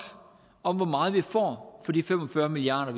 om hvor meget vi får for de fem og fyrre milliard